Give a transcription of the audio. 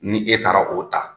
Ni e taara o ta,